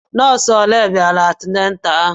Nọọsụ olé bịara antinatalu ahụ?